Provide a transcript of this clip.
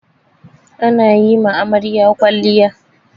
Ana yi ma amarya kwalliya.